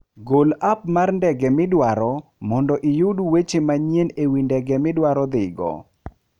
Gol app mar ndege midwaro mondo iyud weche manyien e wi ndege midwaro dhigo.